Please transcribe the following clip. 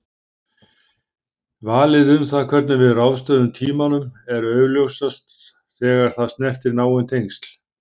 Valið um það hvernig við ráðstöfum tímanum er augljósast þegar það snertir náin tengsl.